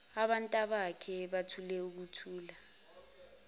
abantabakhe bathule ukuthula